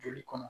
Joli kɔnɔ